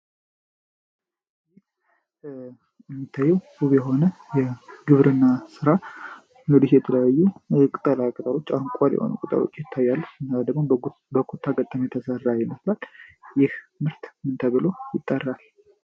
የሚታየው ውብ የሆነ የግብርና ሥራ ኖሊስ የተለያዩ ቅጠላ ቅጠሮች አንኳር የሆነ ቅጠሎች ይታያሉ። እና ደግሞ በኮታ ገጠም የተሠራ ይመስላል። ይህ ምርት እንተብሎ ይጠራል